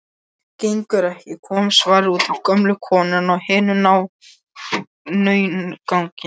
Gengur ekki,- kom svarið, útaf gömlu konunni og hinum náunganum.